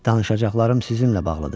Danışacaqlarım sizinlə bağlıdır.